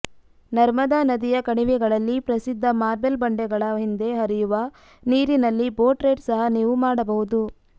ನರ್ಮದಾ ನದಿಯ ಕಣಿವೆಗಳಲ್ಲಿ ಪ್ರಸಿದ್ಧ ಮಾರ್ಬಲ್ ಬಂಡೆಗಳ ಹಿಂದೆ ಹರಿಯುವ ನೀರಿನಲ್ಲಿ ಬೋಟ್ ರೈಡ್ ಸಹ ನೀವು ಮಾಡಬಹುದು